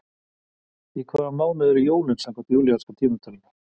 Í hvaða mánuði eru jólin samkvæmt júlíanska tímatalinu?